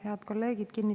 Head kolleegid!